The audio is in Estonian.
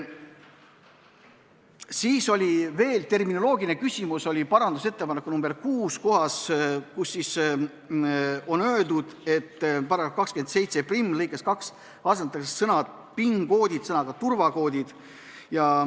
Siis oli veel terminoloogiline küsimus parandusettepaneku nr 6 kohta, kus on öeldud, et § 271 lõikes 2 asendatakse sõna "PIN-kood" sõnaga "turvakood".